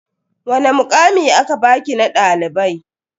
Wani mukami aka baki na dalibai?